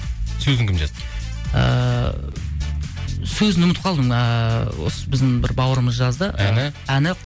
сөзің кім жазды ыыы сөзін ұмытып қалдым ыыы осы біздің бір бауырымыз жазды әні әні